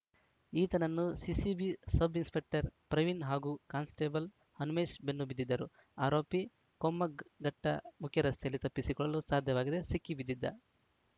ಈತನನ್ನು CCB sub inspector Praveen ಹಾಗೂ constable Hanumesh ಬೆನ್ನು ಬಿದ್ದಿದ್ದರು ಆರೋಪಿ ಕೊಮ್ಮಘಟ್ಟಮುಖ್ಯರಸ್ತೆಯಲ್ಲಿ ತಪ್ಪಿಸಿಕೊಳ್ಳಲು ಸಾಧ್ಯವಾಗದೆ ಸಿಕ್ಕಿ ಬಿದ್ದಿದ್ದ